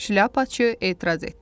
Şlyapaçı etiraz etdi.